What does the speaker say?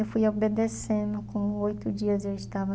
Eu fui obedecendo, com oito dias eu estava